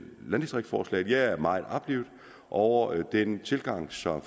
landdistriktforslaget jeg er meget oplivet over den tilgang som